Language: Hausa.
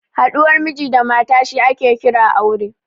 Haɗuwar Miji da mata shi ake kira aure